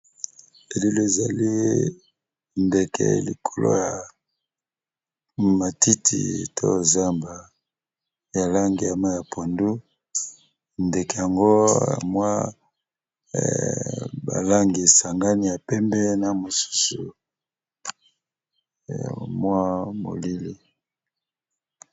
Elili ezali ndeke likolo ya matiti to zamba ya langi ya mayi pondu ndeke yango mwa balangi sangani ya pembe na mosusu ya mwa moyindo.